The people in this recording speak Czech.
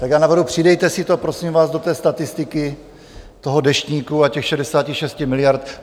Tak já navrhuji, přidejte si to, prosím vás, do té statistiky toho deštníku a těch 66 miliard.